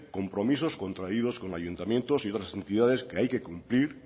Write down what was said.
compromisos contraídos con ayuntamientos y otras entidades que hay que cumplir